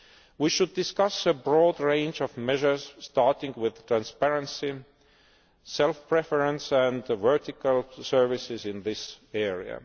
We should discuss a broad range of measures starting with transparency, self preference and vertical services in this area.